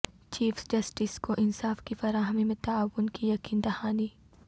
chief justice کو انصاف کی فراہمی میں تعاون کی یقین دہانی